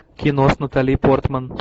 кино с натали портман